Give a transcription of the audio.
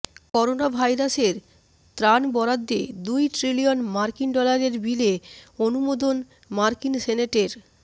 করোনাভাইরাসের ত্রাণ বরাদ্দে দুই ট্রিলিয়ন মার্কিন ডলারের বিলে অনুমোদন মার্কিন সেনেটের